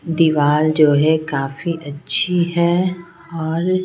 दीवाल जो है काफी अच्छी है और--